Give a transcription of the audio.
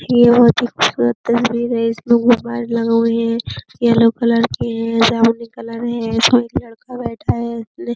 ये बोहोत ही खुबसूरत तस्वीर है। इसमें येलो कलर की है। जामुनी कलर है। एक लड़का बैठा है। ले --